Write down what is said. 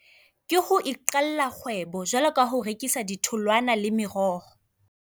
Ke ho iqalla kgwebo jwalo ka ho rekisa ditholwana le meroho.